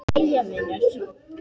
Jæja vinur.